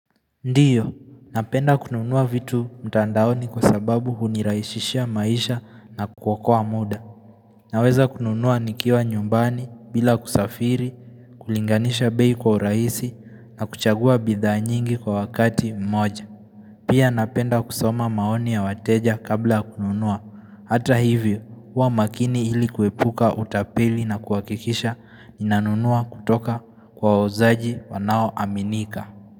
Ndio, napenda kununua vitu mtandaoni kwa sababu huniraisishia maisha na kuwakua muda. Naweza kununua nikiwa nyumbani bila kusafiri, kulinganisha bei kwa uraisi na kuchagua bidha nyingi kwa wakati mmoja. Pia napenda kusoma maoni ya wateja kabla kununua. Hata hivyo, hua makini hili kuepuka utapeli na kuhakikisha ninanunua kutoka kwa wauzaji wanao aminika.